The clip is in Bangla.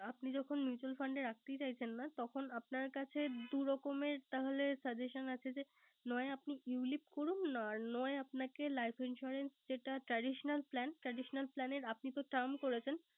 আপনি যখন Mutual fund এ রাখতে চাইছেন না। তখন আপনার কাছে দুই রকমের তাহলে Suggation আছে। নয় আপনি You lip আর নয় Life insurance এর যেটা Traditaional Plan । Traditional plan এর আপনি তো Term করেছেন।